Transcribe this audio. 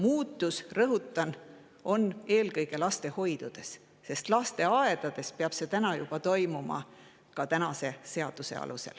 Muutus, rõhutan, eelkõige lastehoidusid, sest lasteaedades peab see seaduse järgi juba praegu toimuma.